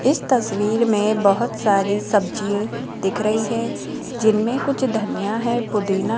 इस तस्वीर में बहोत सारी सब्जी दिख रही है जिनमें कुछ धनिया है पुदीना --